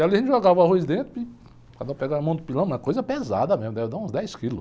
E ali a gente jogava arroz dentro e cada um pegava a mão do pilão, uma coisa pesada mesmo, deve dar uns dez quilos.